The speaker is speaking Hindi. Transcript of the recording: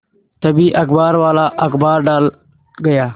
तभी अखबारवाला अखबार डाल गया